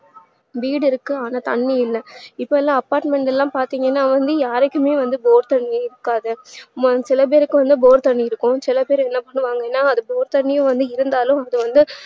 வீடு இருக்கு ஆனா தண்ணீ இல்ல இப்பலா apartment லா பாத்திங்கனா வந்து யாருக்குமே வந்து bore தண்ணியே இருக்காது சிலபேருக்கு வந்து bore தண்ணி இருக்கும் சில பேரு என்ன பண்ணுவாங்கனா அது bore தண்ணியே இருந்தாலும் அது வந்து